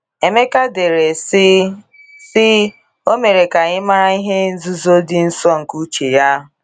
Emeka dere, sị:, sị: “ O mere ka anyị mara ihe nzuzo dị nsọ nke uche ya.